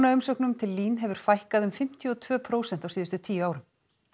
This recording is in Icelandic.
lánaumsóknum til LÍN hefur fækkað um fimmtíu og tvö prósent á síðustu tíu árum